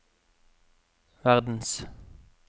verdens